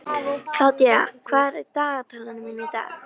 Kládía, hvað er á dagatalinu mínu í dag?